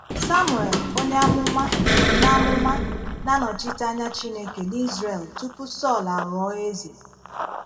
Samuel onye àmụmà na àmụmà na - anọchite anya Chineke n’Izrel tupu Sọl aghọ́ọ̀ eze.